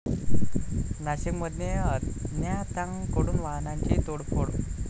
नाशिकमध्ये अज्ञातांकडून वाहनांची तोडफोड